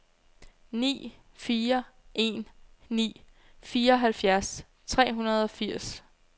ni fire en ni fireoghalvfjerds tre hundrede og firs